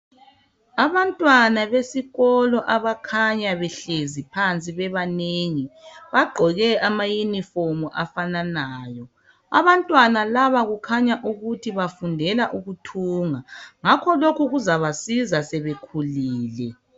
Abantwana besikolo abakhanya behlezi phansi bebanengi, bagqoke amayunifomu afananayo. Abantwana laba kukhanya ukuthi bafundela ukuthunga. Ngakho lokhu kuzabasiza sebekhulile.